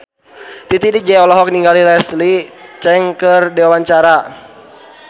Titi DJ olohok ningali Leslie Cheung keur diwawancara